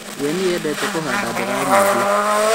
We nĩendete kũhanda mboga nyingĩ